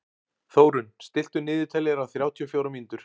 Þórunn, stilltu niðurteljara á þrjátíu og fjórar mínútur.